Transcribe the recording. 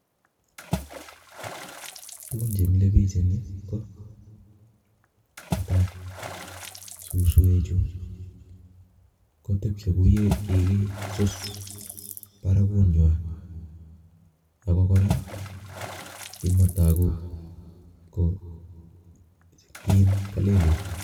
Tugun chemile biik eng Yu ko nee tai suswe chu kotebche kouye kikisus barakuny nywa ako kora ki ne taku ko kiin kalelit